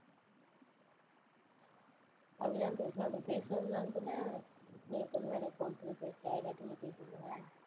அப்படிதான் பேசுவேன். அப்படி பேசினதுனால தான, நீ எப்போதுமே எனக்கு phone பண்ணி பேசுற இல்லாட்டி நீ பேசுவியா?